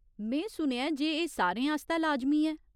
में सुनेआ ऐ जे एह् सारें आस्तै लाजमी ऐ।